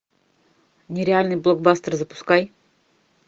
нереальный блокбастер запускай